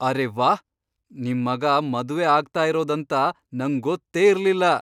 ಅರೇ ವಾಹ್! ನಿಮ್ ಮಗ ಮದ್ವೆ ಆಗ್ತಾ ಇರೋದ್ ಅಂತ ನಂಗ್ ಗೊತ್ತೇ ಇರ್ಲಿಲ್ಲ!